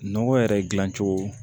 Nɔgɔ yɛrɛ dilancogo